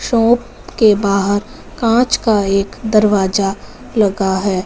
Shop के बाहर कांच का एक दरवाजा लगा है।